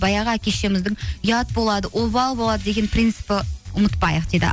баяғы әке шешеміздің ұят болады обал болады деген принципі ұмытпайық дейді